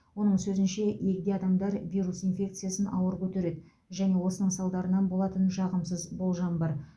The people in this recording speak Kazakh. оның сөзінше егде адамдар вирус инфекциясын ауыр көтереді және осының салдарынан болатын жағымсыз болжам бар